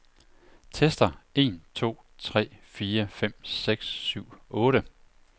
Tester en to tre fire fem seks syv otte.